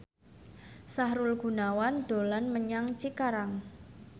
Sahrul Gunawan dolan menyang Cikarang